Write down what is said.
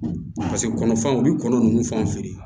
paseke kɔnɔfɛnw be kɔnɔ nunnu fanw feere